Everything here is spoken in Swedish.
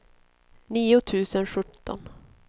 nio tusen sjutton